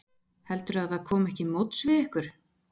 Heldurðu að það komi ekki móts við ykkur?